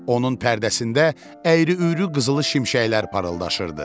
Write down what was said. Onun pərdəsində əyri-üyrü qızılı şimşəklər parıldaşırdı.